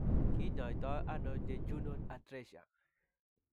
Kiny'aayto nano Jejunal atresia?